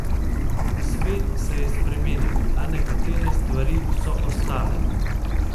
Svet se je spremenil, a nekatere stvari so ostale iste.